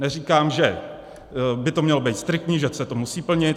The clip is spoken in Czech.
Neříkám, že by to mělo být striktní, že se to musí plnit.